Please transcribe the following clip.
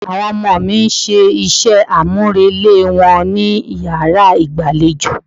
Àwọn ọmọ mi ń ṣe iṣẹ́ àmúrelé wọn ní yàrá ìgbàlejò.